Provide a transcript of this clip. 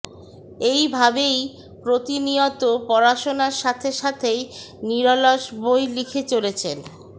এই ভাবেই প্রতিনিয়ত পড়াশোনার সাথে সাথেই নিরলস বই লিখে চলেছেন